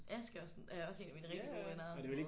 Ask er er også en af mine rigtig gode venner og sådan noget